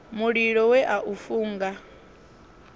mulilo we a u funga